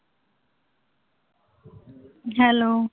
Hello.